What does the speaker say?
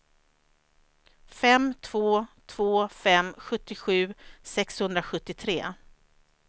fem två två fem sjuttiosju sexhundrasjuttiotre